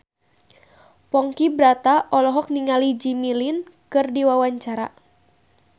Ponky Brata olohok ningali Jimmy Lin keur diwawancara